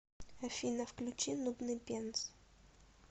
афина включи нудный пенс